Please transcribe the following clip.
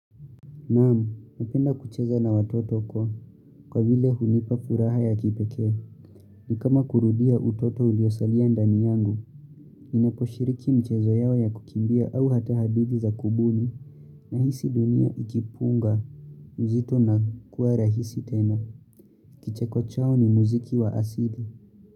Naam, ninapenda kucheza na watoto kwa, kwa vile hunipa furaha ya kipekee. Ni kama kurudia utoto uliosalia ndani yangu, ninaposhiriki michezo yao ya kukimbia au hata hadithi za kubuni, ninahisi dunia ikipunga, uzito na kuwa rahisi tena. Kicheko chao ni muziki wa asili.